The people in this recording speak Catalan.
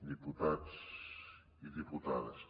diputats i diputades